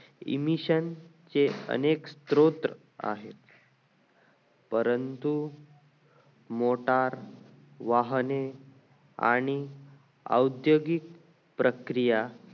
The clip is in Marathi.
emission चे अनेक स्त्रोत आहे परंतु मीटर वाहने आणि औद्योगिक प्रक्रिया